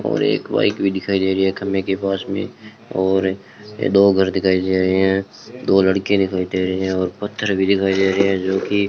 और एक बाइक भी दिखाई दे रही है खंभे के पास में और दो घर दिखाई दे रहे हैं दो लड़के दिखाई दे रहे हैं और पत्थर भी दिखाई दे रहे हैं जो की --